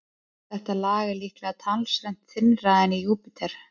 Þetta lag er líklega talsvert þynnra en í Júpíter.